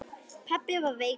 Pabbi var veikur.